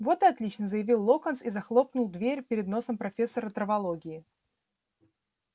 вот и отлично заявил локонс и захлопнул дверь перед носом профессора травологии